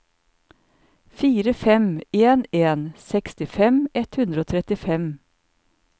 fire fem en en sekstifem ett hundre og trettifem